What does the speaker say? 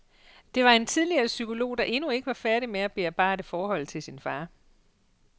Det var en tidligere psykolog, der endnu ikke var færdig med at bearbejde forholdet til sin far.